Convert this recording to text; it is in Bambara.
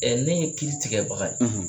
n'e ye kiri tigɛbaga ye,